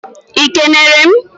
ị kenere m?